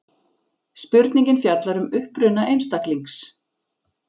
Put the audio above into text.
Spurningin fjallar um uppruna einstaklings.